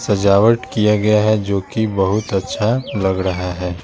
सजावट किया गया है जो कि बहुत अच्छा लग रहा है।